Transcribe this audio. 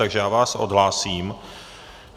Takže já vás odhlásím.